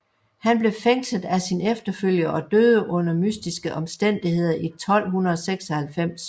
Han blev fængslet af sin efterfølger og døde under mystiske omstændigheder i 1296